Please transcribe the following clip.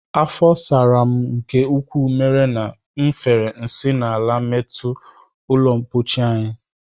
Afọ sara m nke ukwuu mere na m fere nsị n'ala metọọ ụlọmkpochi anyị